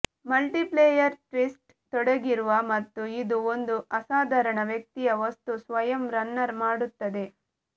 multiplier twist ತೊಡಗಿರುವ ಮತ್ತು ಇದು ಒಂದು ಅಸಾಧಾರಣ ವ್ಯಕ್ತಿ ಯಾ ವಸ್ತು ಸ್ವಯಂ ರನ್ನರ್ ಮಾಡುತ್ತದೆ